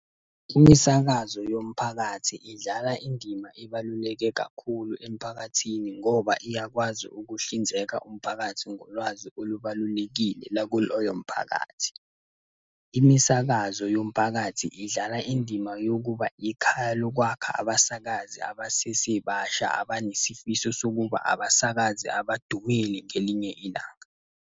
Imisakazo yomphakathi idlala indima ebaluleke kakhulu emphakathini ngoba iyakwazi ukuhlinzeka umphakathi ngolwazi olubablulekile lakuloyo mphakathi. Imisakazo yomphakathi idlala indima yokuba ikhaya lokwakha abasakazi abasesebasha abanesifiso sokuba abasakazi abadumile ngelinye ilanga.